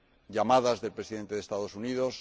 llamadas del Presidente de los Estados Unidos